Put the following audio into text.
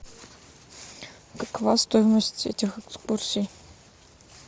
какова стоимость этих экскурсий